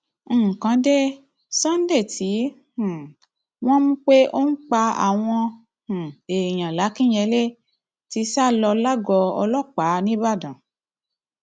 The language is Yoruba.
nǹkan dé sunday tí um wọn mú pé ó ń pa àwọn um èèyàn làkìnyẹlé ti sá lọ lágọọ ọlọpàá ńìbàdàn